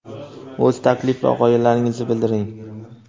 o‘z taklif va g‘oyalaringizni bildiring!.